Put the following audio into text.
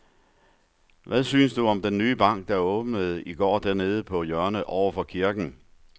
Hvad synes du om den nye bank, der åbnede i går dernede på hjørnet over for kirken?